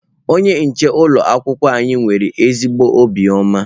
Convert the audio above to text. Onye nche ụlọ akwụkwọ anyị nwere ezigbo obiọma.